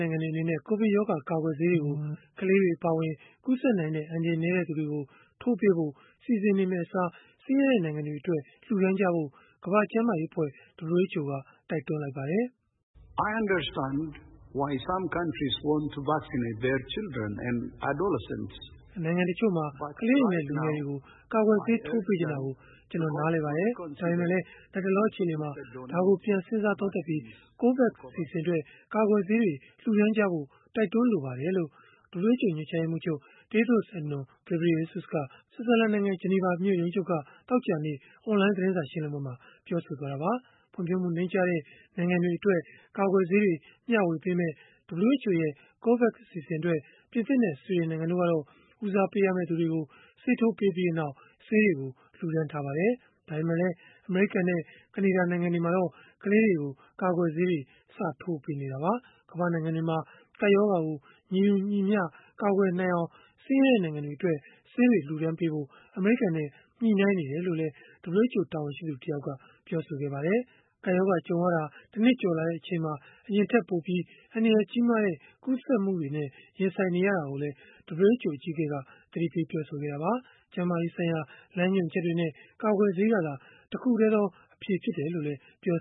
နိုင်ငံတွေအနေနဲ့ ကိုဗစ်ရောဂါ ကာကွယ်ဆေးတွေကို ကလေးတွေ အပါအဝင် ကူးစက်နိုင်တဲ့ အန္တရာယ်နည်းတဲ့ သူတွေကို ထိုးပေးဖို့ စီစဉ်မယ့်အစား ဆင်းရဲတဲ့နိုင်ငံတွေအတွက် လှူဒါန်းဖို့ ကမ္ဘာ့ကျန်းမာရေးအဖွဲ့ (WHO) က တိုက်တွန်းလိုက်ပါတယ်။ “နိုင်ငံတချို့က ကလေးတွေနဲ့ လူငယ်တွေကို ကာကွယ်ဆေးထိုးပေးချင်တာကို ကျနော်နားလည်ပါတယ်။ ဒါပေမဲ့လည်း လတ်တလော အခြေအနေမှာ ဒါကိုပြန်စဉ်းစားပြီး၊ COVAX အစီအစဉ်အတွက် ကာကွယ်ဆေးတွေ လှူဒါန်းကြဖို့ တိုက်တွန်းလိုပါတယ်။” လို့ WHO ညွှန်ကြားရေးမှူးချုပ် Tedros Adhanom Ghebreyesus က ဆွစ်ဇာလန်နိုင်ငံ ဂျနီဗာမြို့ ရုံးချုပ်က သောကြာနေ့ အွန်လိုင်း သတင်းစာ ရှင်းလင်းပွဲမှာ ပြောဆိုသွားတာပါ။ ဖွံ့ဖြိုးမှု နိမ့်ကျတဲ့ နိုင်ငံတွေအတွက် ကာကွယ်ဆေးတွေ မျှဝေမယ့် WHO ရဲ့ COVAX အစီအစဉ်အတွက် ပြင်သစ်နဲ့ ဆွီဒင်နိုင်ငံတို့ကတော့ ဦးစားပေးရမယ့်သူတွေကို ဆေးထိုးပြီးနောက် ဆေးတွေကို လှူဒါန်းထားပါတယ်။ ဒါပေမယ့်လည်း အမေရိကန်နဲ့ ကနေဒါ နိုင်ငံတွေမှာတော့ ကလေးတွေကို ကာကွယ်ဆေးတွေ စထိုးပေးနေတာပါ။ ကမ္ဘာ့နိုင်ငံတွေမှာ ကပ်ရောဂါကို ညီတူညီမျှ ကာကွယ်နိုင်အောင် ဆင်းရဲတဲ့နိုင်ငံတွေအတွက် ဆေးတွေလှူဒါန်းဖို့ အမေရိကန်နဲ့ ညှိနှိုင်းနေတယ်လို့လည်း WHO တာဝန်ရှိသူ တယောက်က ပြောပါတယ်။ ကပ်ရောဂါကြုံရတာ တနှစ်ကျော်လာတဲ့ အချိန်မှာ အရင်ထက်ပိုပြီး အန္တရာယ်ကြီးတဲ့ ကူးစက်မှုတွေနဲ့ ရင်ဆိုင်နေရတာကိုလည်း WHO အကြီးအကဲက သတိပေးခဲ့တာပါ။ ကျန်းမာရေးဆိုင်ရာ လမ်းညွှန်ချက်တွေနဲ့ ကာကွယ်ဆေးကသာ တခုတည်းသော အဖြေဖြစ်တယ်လို့လည်း ပြော